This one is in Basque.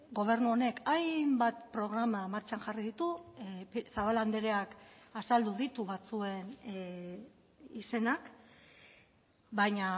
gobernu honek hainbat programa martxan jarri ditu zabala andreak azaldu ditu batzuen izenak baina